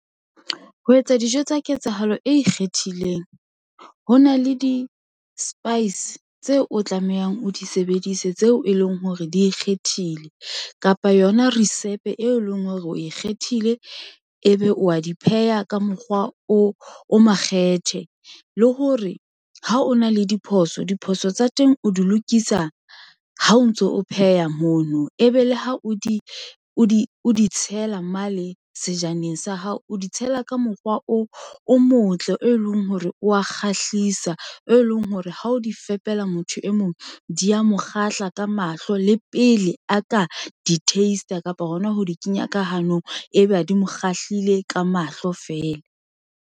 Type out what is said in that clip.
Ho etsa dijo tsa ketsahalo e ikgethileng ho na le di-spice tseo o tlamehang o di sebedise, tseo e leng hore di ikgethile kapa yona risepe e leng hore o ikgethile. Ebe o a di pheha ka mokgwa o o makgethe le hore ha o na le diphoso, diphoso tsa teng o di lokisa ha o ntso o pheha mono. Ebe le ha o di o di tshela mane sejaneng sa hao, o di tshela ka mokgwa o motle, e leng hore o wa kgahlisa, e leng hore ha o di fepela motho e mong di a mo kgahla ka mahlo le pele a ka di taste-a kapa hona ho di kenya ka hanong ebe a di mo kgahlilwe ka mahlo feela.